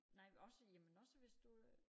Nej også jamen også hvis du øh